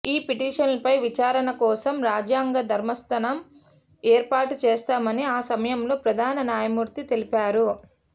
ఈ పిటిషన్లపై విచారణ కోసం రాజ్యాంగ ధర్మాసనం ఏర్పాటు చేస్తామని ఆ సమయంలో ప్రధాన న్యాయమూర్తి తెలిపారు